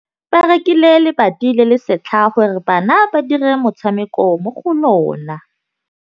Ba rekile lebati le le setlha gore bana ba dire motshameko mo go lona.